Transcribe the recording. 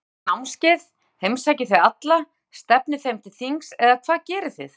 Haldið þið námskeið, heimsækið þið alla, stefnið þeim til þings eða hvað gerið þið?